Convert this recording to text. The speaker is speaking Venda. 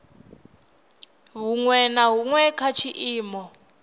huṅwe na huṅwe kha tshiimo